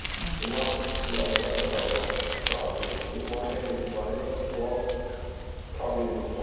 Yəni buna ya o qədər çox adam cavab verib ki, mahiyyət etibarıyla bu sual problemli sualdır.